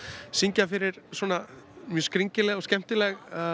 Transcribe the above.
syngja fyrir mjög skringileg og skemmtileg